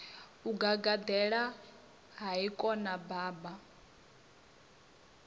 o gagaḓela hai khona baba